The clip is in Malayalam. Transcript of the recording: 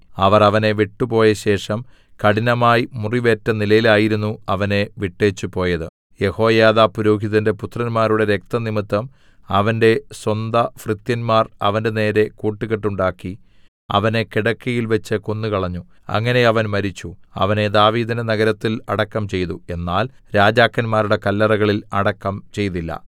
അവർ അവനെ വിട്ടുപോയ ശേഷം കഠിനമായി മുറിവേറ്റ നിലയിലായിരുന്നു അവനെ വിട്ടേച്ചുപോയത് യെഹോയാദാ പുരോഹിതന്റെ പുത്രന്മാരുടെ രക്തംനിമിത്തം അവന്റെ സ്വന്തഭൃത്യന്മാർ അവന്റെനേരെ കൂട്ടുകെട്ടുണ്ടാക്കി അവനെ കിടക്കയിൽവെച്ച് കൊന്നുകളഞ്ഞു അങ്ങനെ അവൻ മരിച്ചു അവനെ ദാവീദിന്റെ നഗരത്തിൽ അടക്കം ചെയ്തു എന്നാൽ രാജാക്കന്മാരുടെ കല്ലറകളിൽ അടക്കം ചെയ്തില്ല